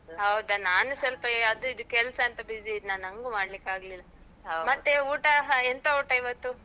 ಹೌದ? ನಾನೂ ಸ್ವಲ್ಪ ಎ ಅದು ಇದು ಕೆಲ್ಸಾಂತ busy ಇದ್ನ, ನಂಗೂ ಮಾಡ್ಲಿಕ್ ಆಗ್ಲಿಲ್ಲ. ಮತ್ತೆ ಊಟ ಹ, ಎಂತ ಊಟ ಇವತ್ತು?